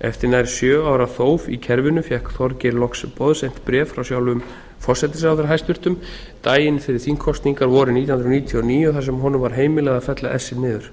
eftir nær sjö ára þóf í kerfinu fékk þorgeir loks boðsent bréf frá sjálfum forsætisráðherra hæstvirtur daginn fyrir þingkosningar vorið nítján hundruð níutíu og níu þar sem honum var heimilað að fella essið niður